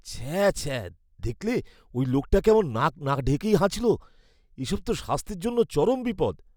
ছ্যা ছ্যাঃ! দেখলে ওই লোকটা কেমন নাক না ঢেকেই হাঁচল? এসব তো স্বাস্থ্যের জন্য চরম বিপদ।